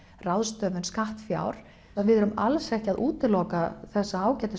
ráðstöfun skattfjár við erum alls ekki að útiloka þessa ágætu